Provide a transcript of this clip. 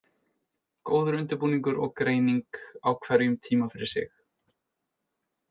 Góður undirbúningur og greining á hverjum tíma fyrir sig.